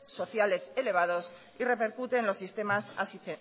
sociales elevados y repercute en los sistemas